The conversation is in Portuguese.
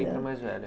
a mais velha.